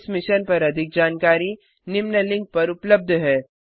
इस मिशन पर अधिक जानकारी निम्न लिंक पर उपलब्ध है